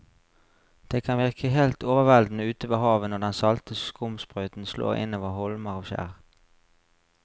Det kan virke helt overveldende ute ved havet når den salte skumsprøyten slår innover holmer og skjær.